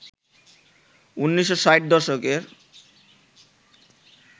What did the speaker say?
১৯৬০ দশকের